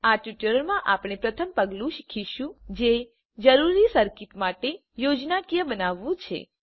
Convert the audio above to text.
આ ટ્યુટોરીયલમાં આપણે પ્રથમ પગલું શીખીશું જે જરૂરી સર્કિટ માટે યોજનાકીય બનાવવાનું છે